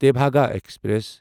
Tebhaga express